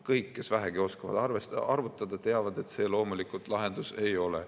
Kõik, kes vähegi oskavad arvutada, teavad, et see loomulikult lahendus ei ole.